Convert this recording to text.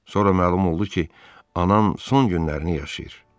Sonra məlum oldu ki, anam son günlərini yaşayır.